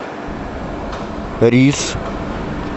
рис